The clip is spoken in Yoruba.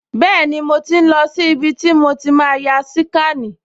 Bẹ́ẹ̀ni, mo ti ń lọ sí ibi tí màá ti ya síkànì